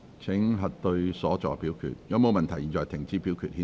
如果沒有問題，現在停止表決，顯示結果。